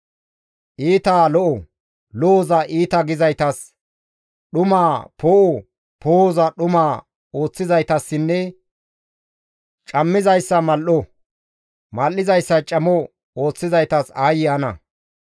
Iitaa lo7o, lo7oza iita gizaytas, dhumaa poo7o poo7oza dhuma ooththizaytassinne cammizayssa mal7o, mal7izayssa camo ooththizaytas aayye ana!